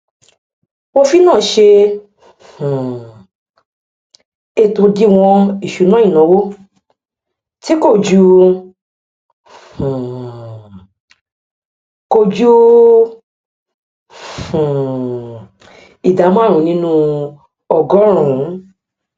òfin náà ṣe um ètò òdiwọn ìṣúná ìnáwó tí kò ju um kò ju um ìdá márùn nínú ọgọrùnún